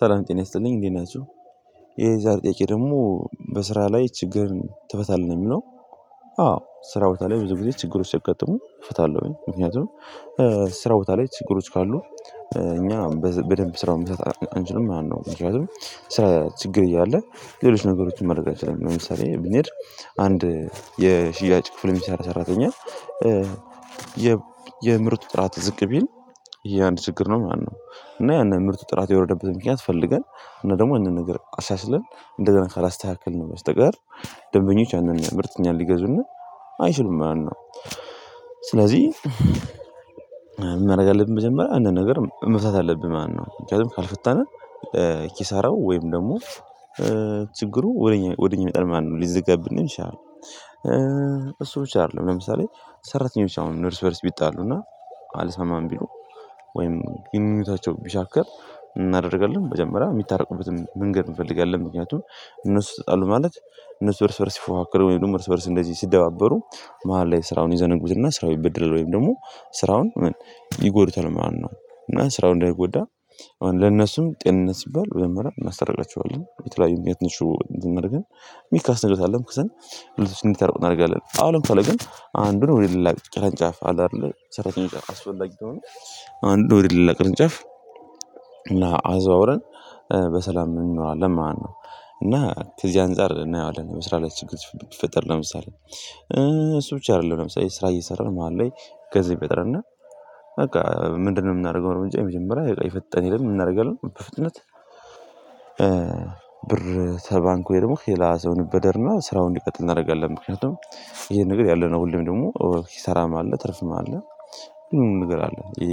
ሰላም ጤና ይስጥልኝ እንዴት ናችሁ። የዛሬ ጥያቄ ደግሞ በስራ ላይ ችግር ትፈታለህ ነው የሚለው? አዎ ስራ ቦታ ላይ ብዙ ጊዜ ችግሮች ሲይጋጥሙ እፈታለሁኝ ምክንያቱም ስራ ቦታ ላይ ችግሮች ካሉ እኛ በደንብ ስራውን መስራት አንችልም ማለት ነው። ምክንያቱም ችግር እያለ ሌሎች ነገሮችን ማድረግ አይችልም ለምሳሌ ብንሄድ አንድ የሽያጭ ክፍል ሚሰራ ሰራተኛ የምርቱ ጥራት ዝቅ ቢል ይሄ አንድ ችግር ነው ማለት ነው። እና ያንን ምርቱ ጥራት የወረደበት ምክንያት ፈልገን እና ደግሞ አንዳንድ ነገር አሻሽለን እንዳንድ ካላስተካከል ነው በስተቀር ደንበኞች ያንን ምርት እኛን ሊገዙን አይችሉም ማለት ነው። ስለዚህ ምን ማድረግ አለብን መጀመሪያ አንድ ነገር መፍታት አለብን ማለት ነው ምክንያቱም ካልፈታንም ኪሳራው ወይም ደግሞ ችግሩ ወደ ወደ እኛ ይመጣል ማለት ነው ሊዘጋብንም ይችላል። እሱ ብቻ አይደለም ለምሳሌ ሰራተኞች አሁን እርስ በእርስ ቢጣሉ እና አልስማማም ቢሉ ወይም ግኑኝነታቸው ቢሻክር ምን እናደርጋለን? መጀመሪያ የምታረቁበትን መንገድ እንፈልጋለን ምክንያቱም እነሱ ተጣሉ ማለት እነሱ እርስ በእርስ ሲፎካከሩ ወይም ደግሞ እርስ በእርስ እንደዚህ ሲደባበሩ መሃል ላይ ስራውን ይዘነጉትና ስራው ይበደላል ወይም ደግሞ ስራውን ይጎዱታል ማለት ነው። እና ስራውን እንዳይጎዳ አሁን ለነሱም ጤንነት ሲባል ወደ መጀመሪያ እናስታርቃቸዋለን የተለያዩ የትንሹ ዝም አድርገን ሚካስ እንደውታለን ከዛ ሁለት ታርቆናለህ አሁን ለምን ታለው ግን አንዱ ነው የሌላ ቅርንጫፍ አለ አይደለ ሰራተኛ አስፈላጊ ከሆነ ነው አንዱ ወደሌላ ቅርንጫፍ አዘዋውረን በሰላም እንኖራለን ማለት ነው። እና ከዚህ አንፃር እናየዋለን በስራ ላይ ችግር ቢፈጥር ለምሳሌ እሱ ብቻ አይደለም ለምሳሌ ስራ እየሰራን መሃል ላይ ገንዘብ ቢያጥረንና በቃ ምንድነው? የምናደርገው የመጀመሪያ የፍጠነ ሄደን ምን እናደርጋለን በፍጥነት። ብር ተባንኩ ወይ ደግሞ ከሌላ ሰው እንበደርና ስራውን እንዲቀጥል እናደርጋለን ምክንያቱም ይሄን ነገር ያለነው ሁሌም ደግሞ ኪሳራም አለ ትርፍም አለ ምንም ነገር አለ ይሄ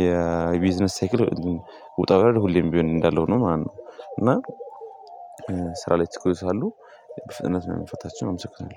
የቢዝነስ ሴክል ውጣ ውረድ ሁሌም ቢሆን እንዳለው ነው ማለት ነው። እና ስራ ላይ ተቆይቷል በፍጥነት መንፈታቸውን አመሰግናለሁ